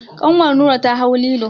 Kanwar Nura ta hau lilo.